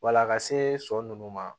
Wala a ka se nunnu ma